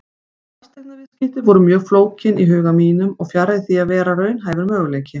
Fasteignaviðskipti voru mjög flókin í huga mínum og fjarri því að vera raunhæfur möguleiki.